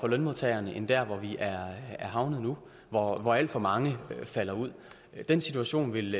lønmodtagerne end der hvor vi er havnet nu hvor alt for mange falder ud den situation vil